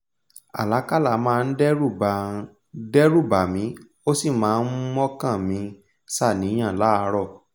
àlákálà máa n dẹ́rù bà n dẹ́rù bà mí ós ì máa n mọ́kàn mi ṣaníyàn láàrọ̀